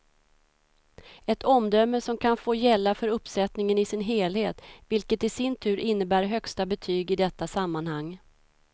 Ett omdöme som kan få gälla för uppsättningen i sin helhet, vilket i sin tur innebär högsta betyg i detta sammanhang.